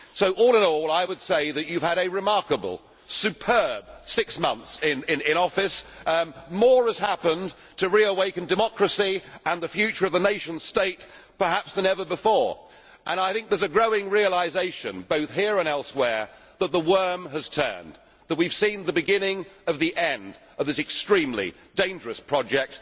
So, all in all, I would say that you have had a remarkable, superb six months in office. More has happened to reawaken democracy and the future of the nation state perhaps than ever before. I think there is a growing realisation, both here and elsewhere, that the worm has turned, and we have seen the beginning of the end of this extremely dangerous project.